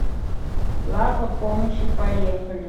лапа помощи поехали